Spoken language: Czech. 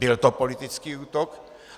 Byl to politický útok.